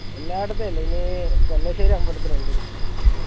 എല്ലാടത്തെ എല്ലാ ഇനി അമ്പലത്തിൽ ഇണ്ട്